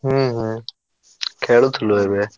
ହୁଁ ହୁଁ ଖେଳୁଥିଲୁ ଏବେ।